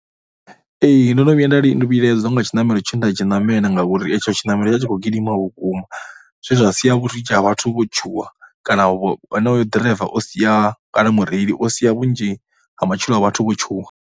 Ee, ndo no vhuya nda vhilaedziswa nga tshiṋamelo tshe nda tshi ṋamela ngauri itsho tshiṋamelo tsho vha tshi tshi khou gidima vhukuma vhunzhi zwe zwa sia vhunzhi ha vhathu vho tshuwa kana onoyo ḓiraiva o sia, kana mureili o sia vhunzhi ha matshilo a vhathu vho tshuwa.